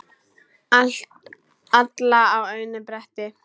Alla á einu bretti.